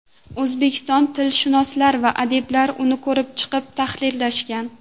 O‘zbek tilshunoslari va adiblar uni ko‘rib chiqib, tahrirlashgan.